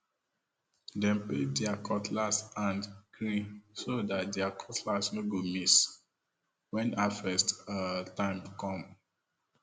dem paint there cutlass hand green so that their cutlass no go miss when harvest um time come um